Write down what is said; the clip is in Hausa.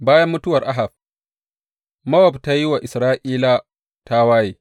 Bayan mutuwar Ahab, Mowab ta yi wa Isra’ila tawaye.